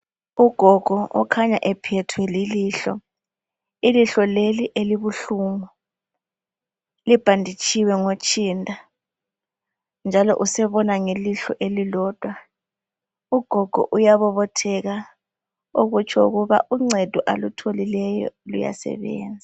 Ugogo okhanya ephethwe lilihlo. Ilihlo leli elibuhlungu, libhanditshiwe ngotshinda, njalo usebona ngelihlo elilodwa. Ugogo uyabobotheka okutsho ukuba uncedo alutholileyo, luyasebenza.